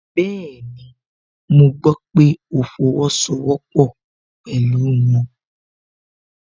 Bẹ́ẹ̀ni, mo gbọ́ pé ó fọwọ́sowọ́pọ́ pẹ̀lú wọn